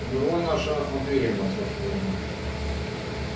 умерла наша матвеевна вздохнула мама